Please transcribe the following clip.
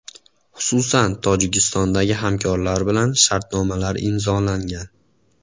Xususan, Tojikistondagi hamkorlar bilan shartnomalar imzolangan.